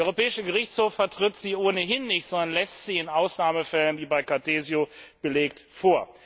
Der Europäische Gerichtshof vertritt sie ohnehin nicht, sondern lässt sie in Ausnahmefällen, wie bei Cartesio belegt, zu.